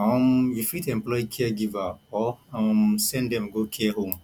um you fit employ caregiver or um send dem go care home